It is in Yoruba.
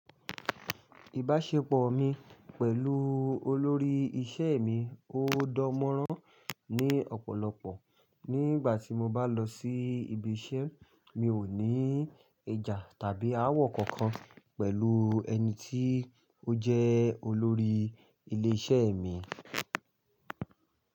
Ìbáṣepọ̀ mi pẹ̀lú olórí isẹ́ mi ó dan mọọrán ní ọ̀pọ̀lọpọ̀. Nígbà tí mo bá lọ sí ibi isẹ́, mi ò ní ìjà tàbí ááwọ̀ kankan pẹ̀lú ẹni tí ó jẹ́ olórí ilé isẹ́ mi.